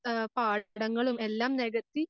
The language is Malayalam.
ആഹ് പാടങ്ങളും എല്ലാം നെകത്തി